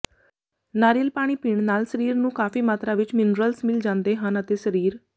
ਨਾਰੀਅਲ ਪਾਣੀ ਪੀਣ ਨਾਲ ਸਰੀਰ ਨੂੰ ਕਾਫ਼ੀ ਮਾਤਰਾ ਵਿੱਚ ਮਿਨਰਲਸ ਮਿਲ ਜਾਂਦੇ ਹਨ ਅਤੇ ਸਰੀਰ